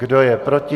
Kdo je proti?